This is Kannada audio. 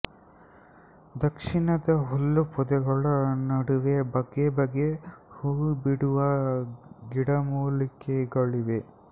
ದಕ್ಷಿಣದ ಹುಲ್ಲು ಪೊದೆಗಳ ನಡುವೆ ಬಗೆ ಬಗೆ ಹೂ ಬಿಡುವ ಗಿಡಮೂಲಿಕೆಗಳಿವೆ